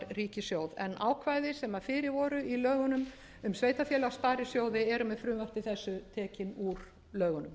ríkissjóð en ákvæði sem fyrir voru í lögunum um sveitarfélög sparisjóði eru með frumvarpi þessu tekin úr lögunum